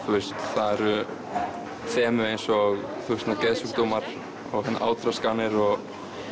það eru þemu eins og geðsjúkdómar og átraskanir og